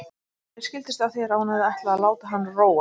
Mér skildist á þér að hún hefði ætlað að láta hann róa.